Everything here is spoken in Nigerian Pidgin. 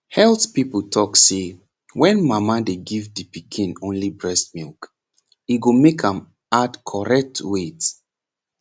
health people talk say wen mama dey give de pikin only breast milk e go make am add correct weight